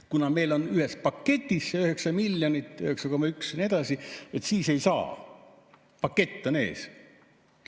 Kuna meil on ühes paketis 9,1 miljonit ja nii edasi, siis ei saa, pakett on ees.